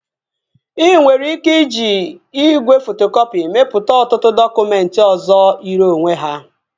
Ị nwere ike iji igwe fotokọpị mepụta ọtụtụ dọkụmentị ọzọ yiri onwe ha